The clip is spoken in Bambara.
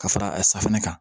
Ka fara a safunɛ kan